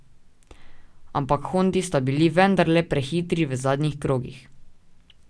Ampak hondi sta bili vendarle prehitri v zadnjih krogih.